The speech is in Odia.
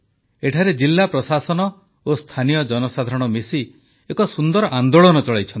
ଏଠାରେ ଜିଲ୍ଲା ପ୍ରଶାସନ ଓ ସ୍ଥାନୀୟ ଜନସାଧାରଣ ମିଶି ଏକ ସୁନ୍ଦର ଆନେ୍ଦାଳନ ଚଳାଇଛନ୍ତି